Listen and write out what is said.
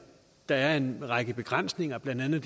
der er en række begrænsninger blandt andet